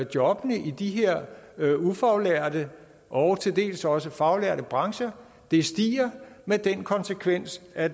jobbene i de her ufaglærte og til dels også faglærte brancher stiger med den konsekvens at